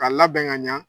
Ka labɛn ka ɲa